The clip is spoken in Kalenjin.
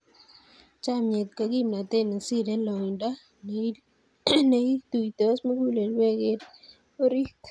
Chomnyet ko kimnatet ne sirei loindo, ne ituitos mugulelweek eng orit.